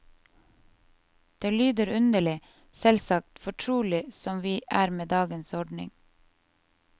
Det lyder underlig, selvsagt, fortrolige som vi er med dagens ordning.